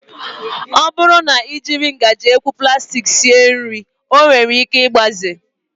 Ọ bụrụ na I jiri ngaji ekwu plastik sie nri ọ nwere ike igbaze